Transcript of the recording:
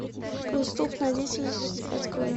преступная деятельность открой